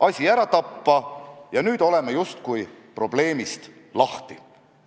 Ma usun, et kõik, kes me siin saalis oleme ja ka inimesed väljaspool seda saali armastavad eesti keelt, austavad seda ja soovivad selle arenemist.